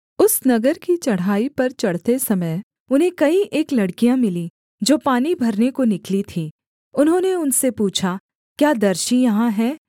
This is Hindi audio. उस नगर की चढ़ाई पर चढ़ते समय उन्हें कई एक लड़कियाँ मिलीं जो पानी भरने को निकली थीं उन्होंने उनसे पूछा क्या दर्शी यहाँ है